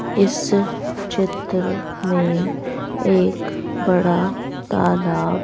इस चित्र में एक बड़ा तालाब--